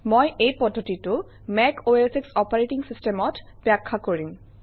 মই এই পদ্ধতিটো মেকশ অপাৰেটিং চিষ্টেমত ব্যাখ্যা কৰিম